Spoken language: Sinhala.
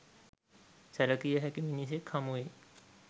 සැලකිය හැකි මිනිසෙක් හමු වෙයි.